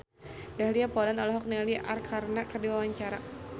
Dahlia Poland olohok ningali Arkarna keur diwawancara